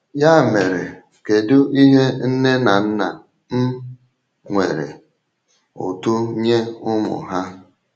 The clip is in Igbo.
Ya mere, kedu ihe nne na nna um nwere ụtụ nye ụmụ ha?